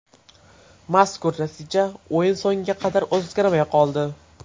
Mazkur natija o‘yin so‘ngiga qadar o‘zgarmay qoldi.